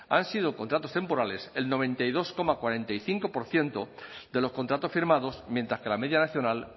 han sido contratos temporales el noventa y dos coma cuarenta y cinco por ciento de los contratos firmados mientras que la media nacional